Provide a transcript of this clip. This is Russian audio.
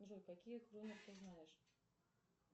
джой какие ты знаешь